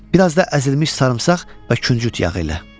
Bir az da əzilmiş sarımsaq və küncüt yağı ilə.